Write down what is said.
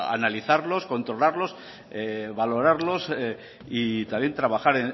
analizarlos controlarlos valorarlos y también trabajar